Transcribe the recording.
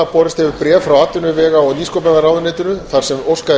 borist hefur bréf frá atvinnuvega og nýsköpunarráðuneytinu þar sem óskað er